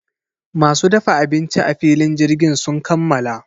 Masu dafa abinci a filin jirgin sun kammala.